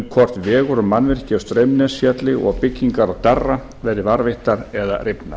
hvort vegur og mannvirki á straumnesfjalli og byggingar á darra verði varðveittar eða rifnar